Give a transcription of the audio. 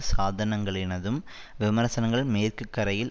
சாதனங்களினதும் விமர்சனங்கள் மேற்குகரையில்